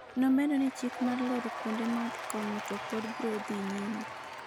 nomedo ni chik mar loro kuonde math kongo to pod bro dhi nyime